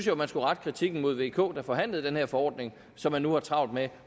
jo man skulle rette kritikken mod vk regeringen der forhandlede den her forordning som man nu har travlt med